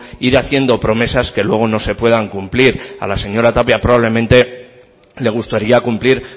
ir haciendo promesas que luego no se puedan cumplir a la señora tapia probablemente le gustaría cumplir